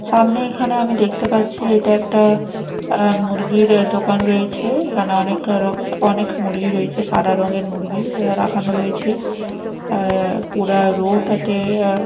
সামনে এখানে আমি দেখতে পাচ্ছি এটা একটা অ্যা মুরগির দোকান রয়েছে এখানে অনেকরক অনেক মুরগি রয়েছে সাদা রঙের মুরগি রাখানো রয়েছে অ্যা পুরা রো -টাতে অ্যা--